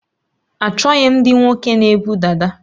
Achọghị m ndị nwoke na ebu dada